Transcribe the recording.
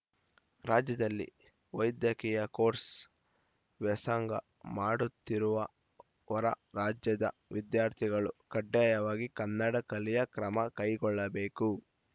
ರಾಜ್ಯದಲ್ಲಿ ವೈದ್ಯಕೀಯ ಕೋರ್ಸ್‌ ವ್ಯಾಸಂಗ ಮಾಡುತ್ತಿರುವ ಹೊರ ರಾಜ್ಯದ ವಿದ್ಯಾರ್ಥಿಗಳು ಕಡ್ಡಾಯವಾಗಿ ಕನ್ನಡ ಕಲಿ ಕ್ರಮ ಕೈಗೊಳ್ಳಬೇಕು